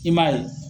I m'a ye